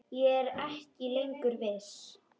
Ég er ekki lengur viss.